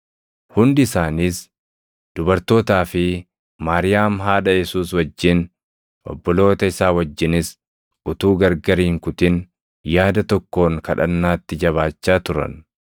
Hundi isaaniis dubartootaa fi Maariyaam haadha Yesuus wajjin, obboloota isaa wajjinis utuu gargar hin kutin yaada tokkoon kadhannaatti jabaachaa turan.